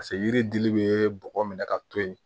Paseke yiri dili bɛ bɔgɔ minɛ ka to yen